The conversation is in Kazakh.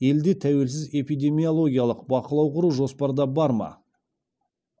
елде тәуелсіз эпидемиологиялық бақылау құру жоспарда бар ма